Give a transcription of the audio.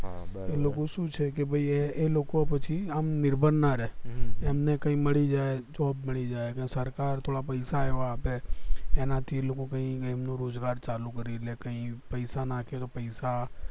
લોકો શું છે કે ભય એ લોકો પછી આમ નિર્ભર ના રે એમને કઈ મળી જાય job મળી જાય કે સરકાર થોડા પૈસા એવા આપે એનાથી લોકો કય એમનું રોજગાર ચાલુ કરી લે કઈ પૈસા નાખે તો પૈસા